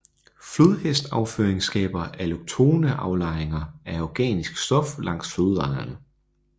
Flodhestafføring skaber alloktone aflejringer af organisk stof langs flodlejerne